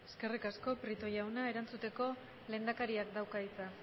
eskerrik asko prieto jauna erantzuteko lehendakariak dauka hitza